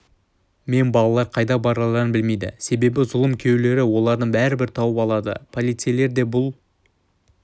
мен балалар қайда барарларын білмейді себебі зұлым күйеулері оларды бәрібір тауып алады полицейлер де бұл